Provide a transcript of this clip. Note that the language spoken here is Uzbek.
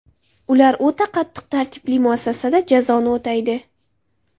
Ular o‘ta qattiq tartibli muassasada jazoni o‘taydi.